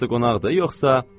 Hamısı qonaqdır yoxsa?